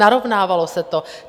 Narovnávalo se to.